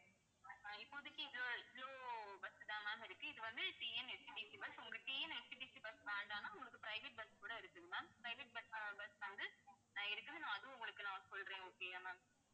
அஹ் இப்போதைக்கு இது bus தான் ma'am இருக்கு. இது வந்து TNSTC bus உங்க TNSTC bus வேண்டாம்னா உங்களுக்கு private bus கூட இருக்குது ma'amprivate bus, bus வந்து அஹ் இருக்குது நான் அதுவும் உங்களுக்கு நான் சொல்றேன் okay யா ma'am